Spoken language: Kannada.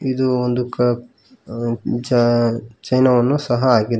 ಇದು ಒಂದು ಕ ಅ ಜ ಚೈನವನ್ನು ಸಹ ಹಾಕಿದ್ದ--